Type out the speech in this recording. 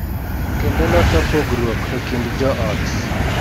Kendo loso pogruok e kind jo ot.